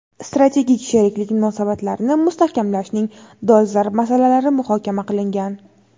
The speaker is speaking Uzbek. strategik sheriklik munosabatlarini mustahkamlashning dolzarb masalalari muhokama qilingan.